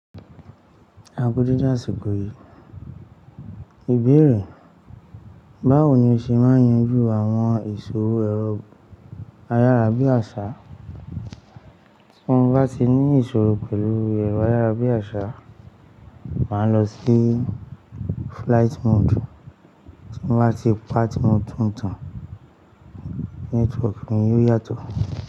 Aku deede àṣìkò yìí. Ìbéèrè, báwo ni o ṣe máa yanjú àwọn ìṣòro ẹ̀rọ ayárabíàṣá? Tí mo bá ti ní ìṣòro pẹ̀lú ẹ̀rọ ayárabíàṣá, màá lọ sí flight mode. Tí mo bá ti pa tí mo tún tan, network mi yóò yàtọ̀.